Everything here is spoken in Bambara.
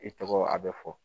I tɔgɔ a bɛ fɔ .